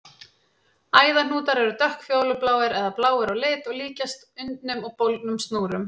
Æðahnútar eru dökkfjólubláir eða bláir á lit og líkjast undnum og bólgnum snúrum.